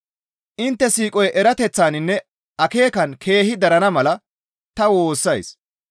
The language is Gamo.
Intte siiqoy erateththaninne akeekan keehi darana mala ta woossays.